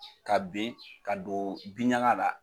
Ka ben ka don binɲaga la.